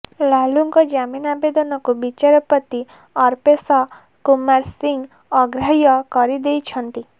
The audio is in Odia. ଲାଲୁଙ୍କ ଜାମିନ ଆବେଦନକୁ ବିଚାରପତି ଅର୍ପେଶ କୁମାର ସିଂହ ଅଗ୍ରାହ୍ୟ କରିଦେଇଛନ୍ତି